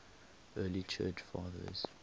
early church fathers